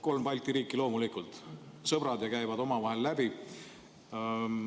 Kolm Balti riiki on loomulikult sõbrad ja käivad omavahel läbi.